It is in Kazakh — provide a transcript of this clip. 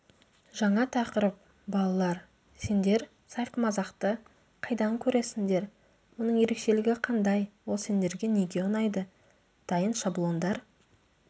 жаңа тақырып балалар сендер сайқымазақты қайдан көресіндер оның ерекшелігі қандай ол сендерге неге ұнайды дайын шаблондар